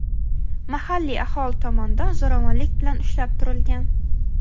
mahalliy aholi tomonidan zo‘ravonlik bilan ushlab turilgan.